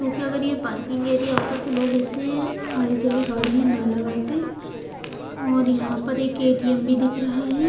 क्योंकि अगर ये पार्किंग एरिया होता तो लोग ऐसे आड़ी टेढ़ी गाड़ियाँ ना लगाते और यहाँ पर एक ए_ टी_ एम_ भी दिख रहा है।